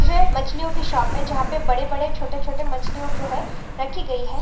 यह मछलीयोकी शॉप है जहा पे बड़े-बड़े छोटे-छोटे मच्छली यो जो है रखी गई है।